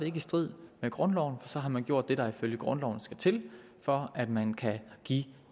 ikke i strid med grundloven for så har man gjort det der ifølge grundloven skal til for at man kan give